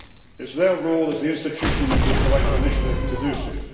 It is their role as the institution with the right of initiative to do so.